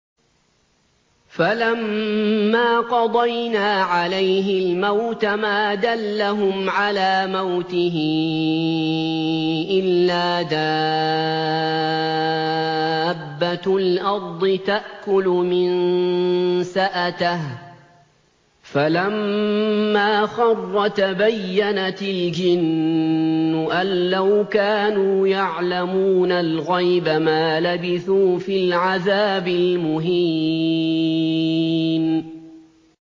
فَلَمَّا قَضَيْنَا عَلَيْهِ الْمَوْتَ مَا دَلَّهُمْ عَلَىٰ مَوْتِهِ إِلَّا دَابَّةُ الْأَرْضِ تَأْكُلُ مِنسَأَتَهُ ۖ فَلَمَّا خَرَّ تَبَيَّنَتِ الْجِنُّ أَن لَّوْ كَانُوا يَعْلَمُونَ الْغَيْبَ مَا لَبِثُوا فِي الْعَذَابِ الْمُهِينِ